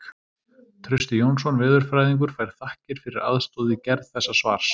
Trausti Jónsson veðurfræðingur fær þakkir fyrir aðstoð við gerð þessa svars.